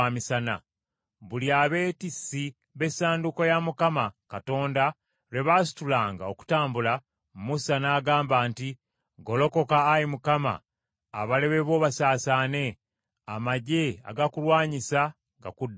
Buli abeetissi b’Essanduuko ya Mukama Katonda lwe baasitulanga okutambula, Musa n’agamba nti, “Golokoka, Ayi Mukama ! Abalabe bo basaasaane; amaggye agakulwanyisa gakudduke.”